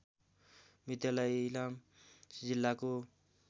विद्यालय इलाम जिल्लाको